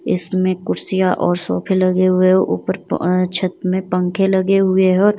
इसमें कुर्सियां और सोफे लगे हुए ऊपर छत में पंखे लगे हुए हैंऔर --